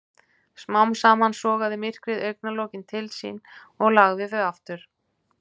Smám saman sogaði myrkrið augnlokin til sín og lagði þau aftur.